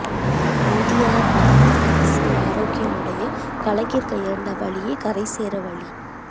இந்திய மதவாத அரசியல் ஆரோக்கியம் அடைய கலைஞர் கையாண்ட வழியே கரை சேர வழி